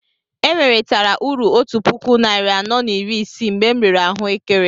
E nweretara uru otú puku narị anọ na iri isii mgbe m rere ahuekere